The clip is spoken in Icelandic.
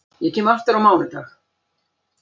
Ég kem aftur á mánudag.